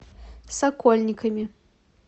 сокольниками